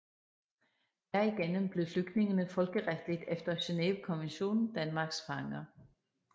Derigennem blev flygtningene folkeretligt efter Genevekonventionen Danmarks fanger